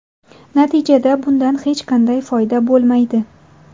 Natijada bundan hech qanday foyda bo‘lmaydi.